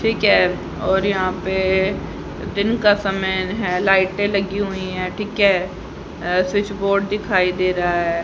ठीक है और यहां पे दिन का समय है लाइटें लगी हुई है ठीक है अ स्विच बोर्ड दिखाई दे रा है।